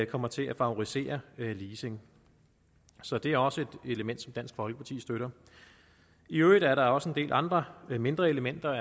kommer til at favorisere leasing så det er også et element som dansk folkeparti støtter i øvrigt er der også en del andre mindre elementer